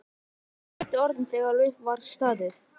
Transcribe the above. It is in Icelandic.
Voru þetta þá kannski réttu orðin þegar upp var staðið?